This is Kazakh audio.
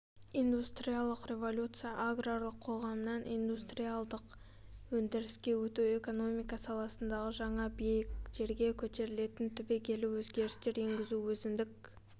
индустриялық революция аграрлық қоғамнан индустриалдық өндіріске өту экономика саласына жаңа биіктерге көтерілетін түбегейлі өзгерістер енгізу өзіндік